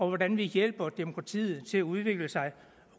hvordan vi hjælper demokratiet til at udvikle sig